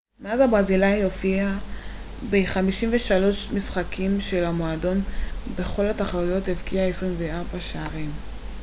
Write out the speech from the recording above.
מאז הברזילאי הופיע ב-53 משחקים של המועדון בכל התחרויות והבקיע 24 שערים